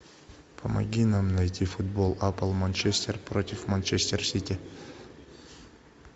помоги нам найти футбол апл манчестер против манчестер сити